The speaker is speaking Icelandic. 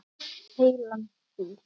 Heilan fíl.